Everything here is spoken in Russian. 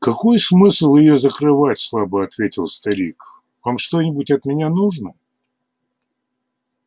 какой смысл её закрывать слабо ответил старик вам что-нибудь от меня нужно